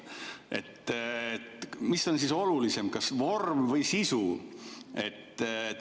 Mis on siis olulisem, kas vorm või sisu?